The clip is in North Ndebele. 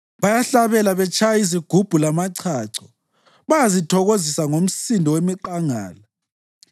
Bayahlabela betshaya izigubhu lamachacho; bayazithokozisa ngomsindo wemiqangala.